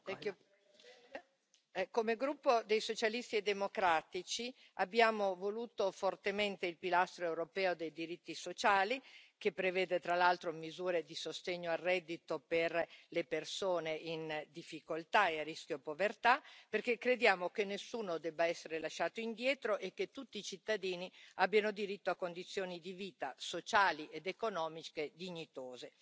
Signora Presidente, onorevoli colleghi, come gruppo dei Socialisti e democratici abbiamo voluto fortemente il pilastro europeo dei diritti sociali, che prevede, tra l'altro, misure di sostegno al reddito per le persone in difficoltà e a rischio di povertà, perché crediamo che nessuno debba essere lasciato indietro e che tutti i cittadini abbiano diritto a condizioni di vita, sociali ed economiche dignitose.